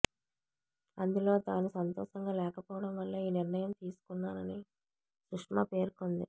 అందులో తాను సంతోషంగా లేకపోవడం వల్లే ఈ నిర్ణయం తీసుకున్నానని సుష్మా పేర్కొంది